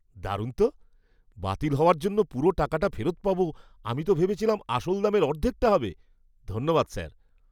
দারুণ তো! বাতিল হওয়ার জন্য পুরো টাকাটা ফেরত পাব, আমি তো ভেবেছিলাম আসল দামের অর্ধেকটা হবে। ধন্যবাদ স্যার।